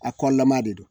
A kɔlama de don